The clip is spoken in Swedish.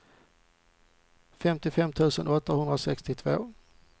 femtiofem tusen åttahundrasextiotvå